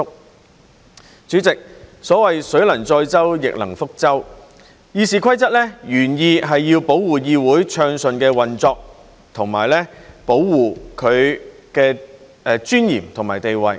代理主席，所謂"水能載舟，亦能覆舟"，《議事規則》原意是要保護議會暢順運作，以及保護其尊嚴和地位。